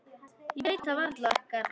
Ég veit það varla, Garðar.